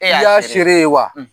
Ɛy 'a siriere i y'a seere ye wa